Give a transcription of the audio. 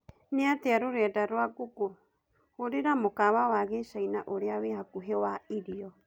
niatia rurenda rwa google hurira mũkawa wa gĩchĩna ũrĩa wi hakũhĩ wa irio